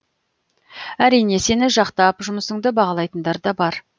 әрине сені жақтап жұмысыңды бағалайтындар да бар